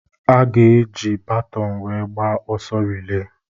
A ga-eji baton wéé gbaa ọsọ rịléé